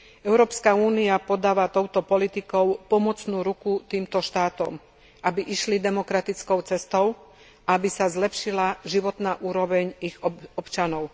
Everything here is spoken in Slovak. Európska únia podáva touto politikou pomocnú ruku týmto štátom, aby išli demokratickou cestou a aby sa zlepšila životná úroveň ich občanov.